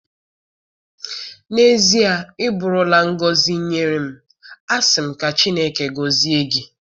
N'ezie, ị bụụrụ la ngọzi ngọzi nye m. Asị m ka Chineke gozie gi.